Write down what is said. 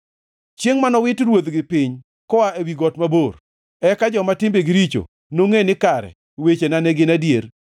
chiengʼ ma nowit ruodhigi piny koa ewi got mabor, eka joma timbegi richo nongʼe ni kare wechena ne gin adier.